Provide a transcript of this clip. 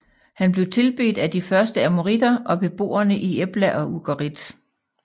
Han blev tilbedt af de første amoriter og beboerne i Ebla og Ugarit